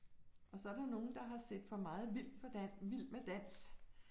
Og så der nogen, der har set for meget vild for vild med dans